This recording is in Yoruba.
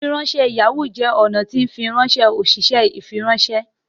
ifiranṣẹ Yahoo jẹ ọnà tí fifiranṣẹ oṣiṣẹ ifiranṣẹ